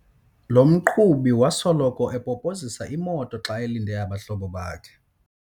Lo mqhubi wasoloko epopozisa imoto xa elinde abahlobo bakhe.